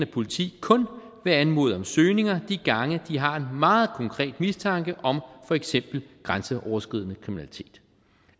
politi kun vil anmode om søgninger de gange de har en meget konkret mistanke om for eksempel grænseoverskridende kriminalitet